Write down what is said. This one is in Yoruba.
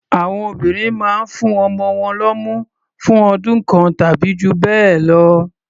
Àwọn obìnrin mán ń fún ọmọ wọn lọ́mú fún ọdún kan tàbí jù bẹ́ẹ̀ lọ.